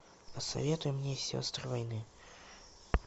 посоветуй мне сестры войны